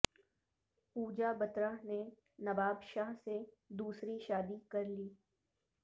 پوجا بترہ نے نواب شاہ سے دوسری شادی کرلی